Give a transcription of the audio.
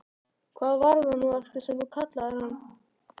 Hvað var það nú aftur sem þú kallaðir hann?